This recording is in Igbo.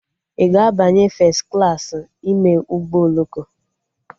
Ị ga-abanye fes klaasị ime ụgbọ oloko?